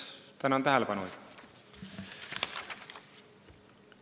Tänan tähelepanu eest!